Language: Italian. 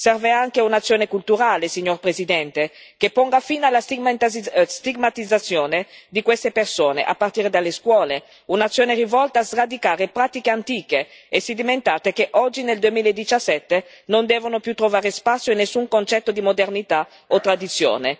Serve anche un'azione culturale, signor Presidente, che ponga fine alla stigmatizzazione di queste persone, a partire dalle scuole, un'azione rivolta a sradicare pratiche antiche e sedimentate, che oggi, nel 2017, non devono più trovare spazio in nessun concetto di modernità o tradizione.